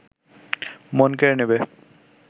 মন কেড়ে নেবে